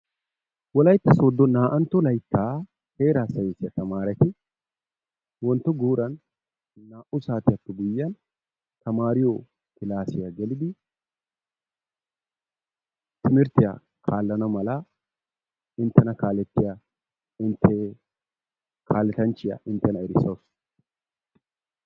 Wolayitta sooddo naa"antto layitta heeraa sayinisiya tamaareti wontto guuran naa"u saatiyaappe guyyiyan tamaariyo kilaasiya gelidi timirttiya kaallana mala intena kaalettiya intee kaaletanchchiya inttena erisawus.